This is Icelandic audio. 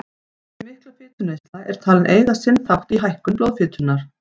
Þessi mikla fituneysla er talin eiga sinn þátt í hækkun blóðfitunnar.